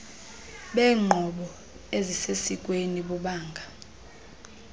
beenqobo ezisesikweni bubanga